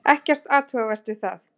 Ekkert athugavert við það.